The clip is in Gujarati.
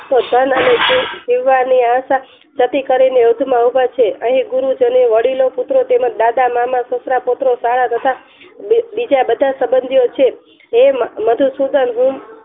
ધન અને જીવવાની આશા જતી કરીને યુદ્ધ માં ઉભા છે અહીં ગુરુ જનો વડીલો તેમજ દાદા મામા પત્ર પુત્રો તથા બીજા બધા સબંધીઓ છે હે મધુસુદન હું